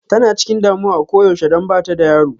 Tana chikin damuwa a koyaushe don bata da yaro.